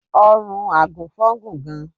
Ọrùn àgùnfọn gùn gan.